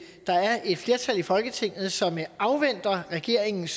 der er et flertal i folketinget som afventer regeringens